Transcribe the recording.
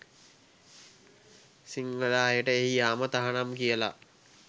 සිංහල අයට එහි යාම තහනම් කියල